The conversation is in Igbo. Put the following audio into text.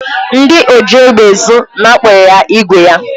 Ndị oji égbè ezụ napụrụ ya ígwè ya.